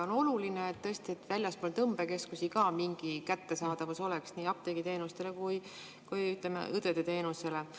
On oluline, et ka väljaspool tõmbekeskusi oleks mingi kättesaadavus nii apteegiteenuse kui ka õendusteenuse puhul.